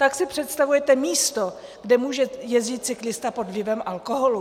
Tak si představujete místo, kde může jezdit cyklista pod vlivem alkoholu?